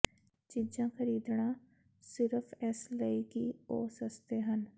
ਚੀਜ਼ਾਂ ਖ਼ਰੀਦਣਾ ਸਿਰਫ਼ ਇਸ ਲਈ ਕਿ ਉਹ ਸਸਤੇ ਹਨ